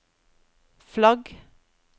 flagg